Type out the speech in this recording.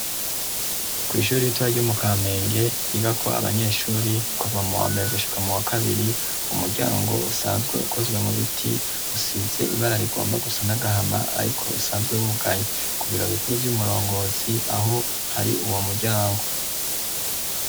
Kw'ishuri ritoya ryo mu Kamenge ryigako abanyeshuri kuva mu wambere gushika mu wa kabiri. Umuryango usanzwe ukozwe mu biti usize ibara rigomba gusa n'agahama ariko usanzwe wugaye. Ku biro bikuru vy'umurongozi aho hari uwo muryango.